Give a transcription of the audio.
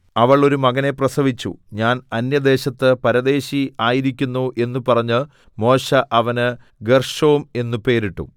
അവൾ ഒരു മകനെ പ്രസവിച്ചു ഞാൻ അന്യദേശത്ത് പരദേശി ആയിരിക്കുന്നു എന്നു പറഞ്ഞ് മോശെ അവന് ഗേർശോം എന്നു പേരിട്ടു